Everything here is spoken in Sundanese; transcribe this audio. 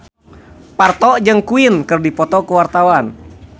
Parto jeung Queen keur dipoto ku wartawan